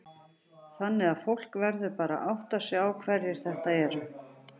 Þannig að fólk verður bara að átta sig á hverjir þetta eru?